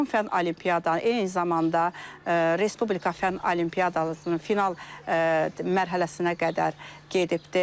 Rayon fənn olimpiada, eyni zamanda respublika fənn olimpiadasının final mərhələsinə qədər gedibdir.